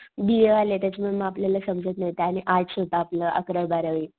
बी A वाले त्याच्या मूळ आपल्याला समजत नाही आणि ते आर्ट्स होत आपलं अकरावी बारावी.